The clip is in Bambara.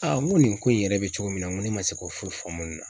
Aa n ko nin ko in yɛrɛ bɛ cogo min na n ko ne ma se k'o foyi faamu nin na.